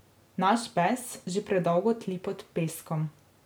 Naš bes že predolgo tli pod peskom.